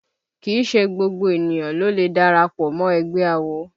Kìí ṣe gbogbo ènìyàn ló lè darapọ̀ mọ́ ẹgbẹ́ awo